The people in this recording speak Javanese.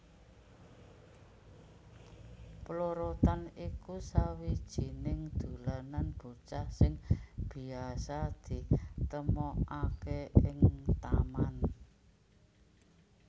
Plorotan iku sawijining dolanan bocah sing biasa ditemokaké ing taman